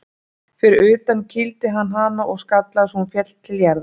Fyrir utan kýldi hann hana og skallaði svo hún féll til jarðar.